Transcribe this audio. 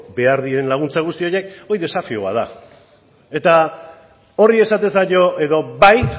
behar diren laguntza guzti horiek hori desafio bat da eta horri esaten zaio edo bai